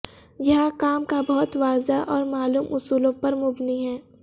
یہاں کام کا بہت واضح اور معلوم اصولوں پر مبنی ہے